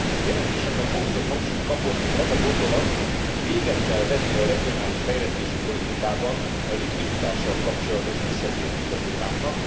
Jelentésemben fokozott hangsúlyt kapott az a gondolat, hogy véget kell vetni a regionális fejlesztési politikában a likviditással kapcsolatos visszatérő problémáknak.